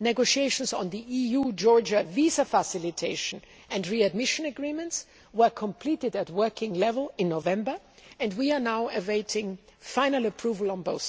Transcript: negotiations on the EU Georgia visa facilitation and readmission agreements were completed at working level in November, and we are now awaiting final approval on both